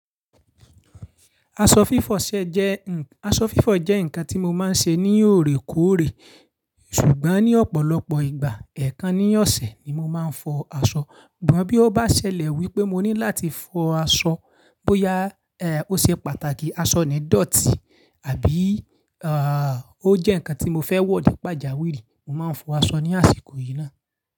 Aṣọ fífọ̀ ṣẹ jẹ́ nǹkan, aṣọ fífọ̀ jẹ́ ǹkan tí mo máa ń ṣe ní òrèkóòrè, ṣùgbọ́n ní ọ̀pọ̀lọpọ̀ ìgbà ẹ̀ẹ̀kan ní ọ̀sẹ̀ ni mo máa ń fọ aṣọ. Ṣùgbọ́n bí ó bá ṣẹlẹ̀ wípé mo ní láti fọ aṣọ bóyá, ó ṣe pàtàkì aṣọ ni dọ̀tí àbí, ó jẹ́ ǹkan tí mo fẹ́ wọ̀ ni pàjáwìrì, mo máa ń fọ aṣọ ní àsìkò yìí náà.